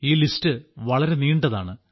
ഈ പട്ടിക വളരെ നീണ്ടതാണ്